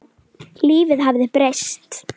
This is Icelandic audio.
Lífið hafði breyst.